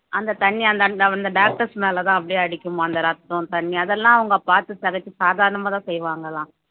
அந்த தண்ணி அந்த அந்த doctors மேலதான் அப்படியே அடிக்கும் அந்த ரத்தம் தண்ணி அதெல்லாம் அவங்க பார்த்து சிதைச்சு சாதாரணமாதான் செய்வாங்கலாம்